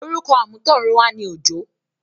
orúkọ àmútọ̀runwá ni “ Òjó”.